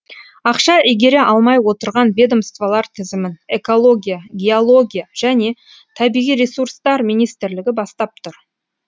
ақша игере алмай отырған ведомстволар тізімін экология геология және табиғи ресурстар министрлігі бастап тұр